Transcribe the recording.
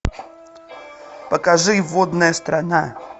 покажи водная страна